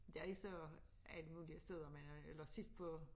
Der er jo så alle mulige steder eller sidst på